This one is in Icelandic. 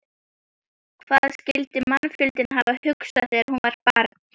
Hvað skyldi mannfjandinn hafa hugsað þegar hún var barn?